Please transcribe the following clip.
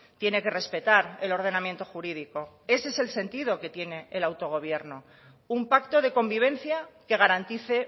tiene que respetar el ordenamiento jurídico ese es el sentido que tiene el autogobierno un pacto de convivencia que garantice